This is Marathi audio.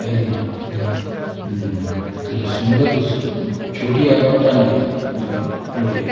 हाय की नाय हम्म तुला सुंदर दिसत पण छोटी आहे पण चांगली आहे दुकान बढिया आहे.